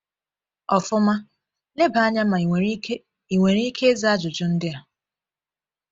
Ọfụma, leba anya ma ị nwere ike ị nwere ike ịza ajụjụ ndị a: